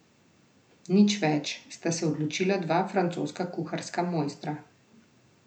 Nič več, sta se odločila dva francoska kuharska mojstra.